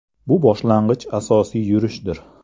Bu boshlang‘ich asosiy yurishdir.